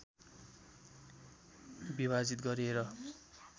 विभाजित गरेर